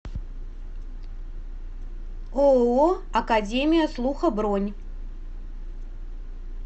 ооо академия слуха бронь